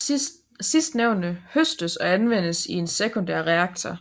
Sidstnævnte høstes og anvendes i en sekundær reaktor